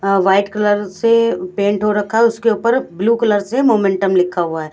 अ white colour से paint हो रखा है उसके ऊपर ब्लू कलर से मोमेंटम लिखा हुआ है।